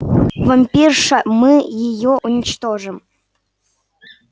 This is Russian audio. вампирша мы её уничтожим